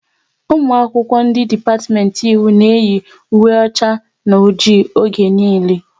Ụmụ akwụkwọ ndị dipatiment Ịwụ na eyi ùwé ọcha na ọjị oge niile